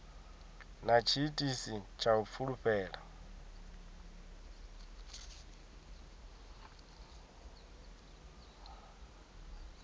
na tshiitisi tsha u fulufhela